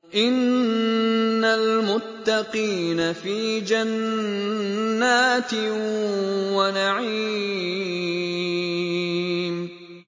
إِنَّ الْمُتَّقِينَ فِي جَنَّاتٍ وَنَعِيمٍ